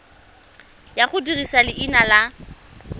ya go dirisa leina la